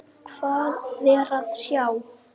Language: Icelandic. Hvað er að sjá